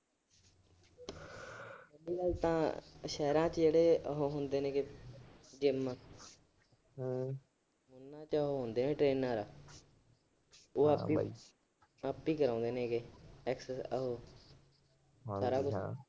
ਓ ਤਾਂ ਸ਼ਹਿਰਾਂ ਚ ਜਿਹੜੇ ਹੁੰਦੇ ਨੇ ਜਿੰਮ, ਉਹਨਾਂ ਚ ਹੁੰਦੇ ਨੇ ਟ੍ਰੇਨਰ। ਉਹ ਆਪੀ ਅਹ ਆਪੀ ਕਰਾਉਂਦੇ ਨੇ ਐਕਸਰਸਾਈਜ ਉਹ ਸਾਰਾ ਕੁਛ ।